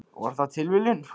Var það líka tilviljun?